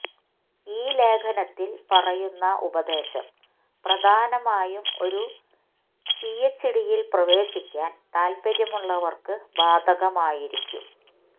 ഈ ലേഖനത്തിൽ പറയുന്ന ഉപദേശം പ്രധാനമായും ഒരു പിഎച്ച്ഡിയിൽ പ്രവേശിക്കാൻ താൽപര്യമുള്ളവർക്ക് ബാധകമായിരിക്കും